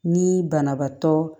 Ni banabaatɔ